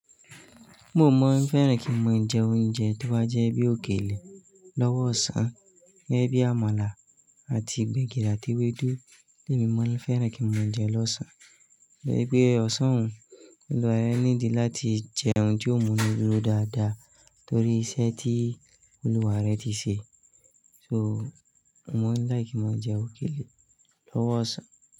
Mo maa n fẹ́ràn kí n máa jẹ oúnjẹ to bà jẹ́ bí òkèlè lọ́wọ́ ọ̀sán, gẹ́gẹ́ bí àmàlà àti gbẹ̀gìrì àti ewédú, ni mo maa n fẹ́ràn kí n máa jẹ lọ̀sán, to je wípé ọ̀sán un, Olúwa rẹ need láti jẹun ti ọ̀ mùnurò dáadáa torí iṣẹ́ tí Olúwa rẹ ti ṣe. So, mo maa ń like ounje òkèlè lọ́wọ́ ọ̀sán.